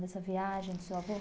Dessa viagem do seu avô?